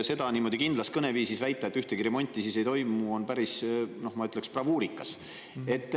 Seda niimoodi kindlas kõneviisis väita, et ühtegi remonti siis ei toimu, on päris, ma ütleksin, bravuurikas.